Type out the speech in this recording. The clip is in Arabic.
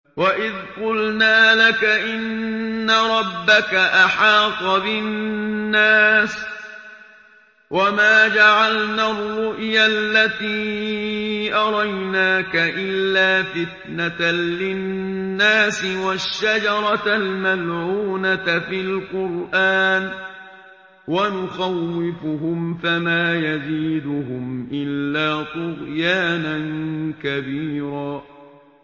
وَإِذْ قُلْنَا لَكَ إِنَّ رَبَّكَ أَحَاطَ بِالنَّاسِ ۚ وَمَا جَعَلْنَا الرُّؤْيَا الَّتِي أَرَيْنَاكَ إِلَّا فِتْنَةً لِّلنَّاسِ وَالشَّجَرَةَ الْمَلْعُونَةَ فِي الْقُرْآنِ ۚ وَنُخَوِّفُهُمْ فَمَا يَزِيدُهُمْ إِلَّا طُغْيَانًا كَبِيرًا